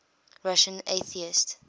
russian atheists